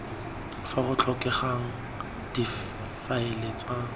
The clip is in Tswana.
fa go tlhokegang difaele tsa